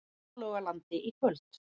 Hálogalandi í kvöld.